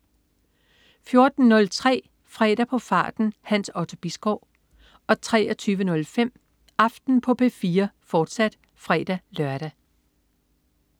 14.03 Fredag på farten. Hans Otto Bisgaard 23.05 Aften på P4, fortsat (fre-lør)